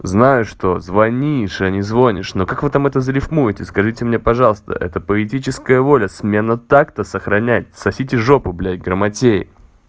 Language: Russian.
знаешь что звонишь а не звонишь ну как вы там это зарифмуете и скажите мне пожалуйста это политическая воля смена так-то сохранять сосите жопу блядь грамотеи